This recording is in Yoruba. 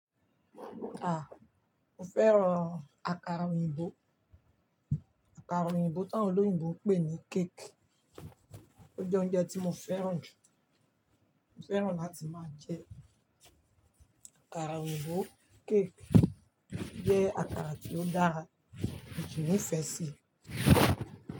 Mo fẹ́ràn akara oyinbo. Akara oyinbo tá wọn oloyinbo ń pè ní cake. Ó jẹ́ oúnjẹ tí mo fẹ́ràn jù. Mo fẹ́ràn láti máa jẹ akara oyinbo, cake jẹ́ akara tí ó dára, mo sí ní ìfẹ sí i.